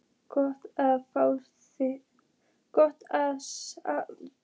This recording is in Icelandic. Gott að fá í sig hita.